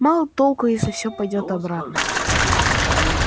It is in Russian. мало толку если всё пойдёт обратно